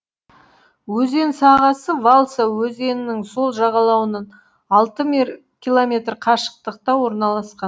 өзен сағасы валса өзенінің сол жағалауынан алты километр қашықтықта орналасқан